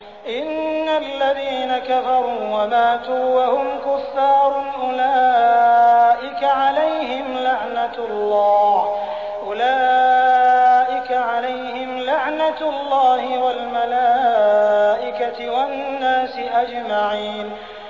إِنَّ الَّذِينَ كَفَرُوا وَمَاتُوا وَهُمْ كُفَّارٌ أُولَٰئِكَ عَلَيْهِمْ لَعْنَةُ اللَّهِ وَالْمَلَائِكَةِ وَالنَّاسِ أَجْمَعِينَ